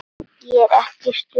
Ég er ekki í stuði.